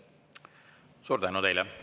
Suur tänu teile!